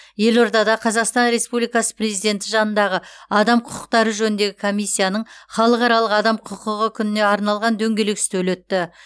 елордада қазақстан республикасы президенті жанындағы адам құқықтары жөніндегі комиссияның халықаралық адам құқығы күніне арналған дөңгелек үстел өтті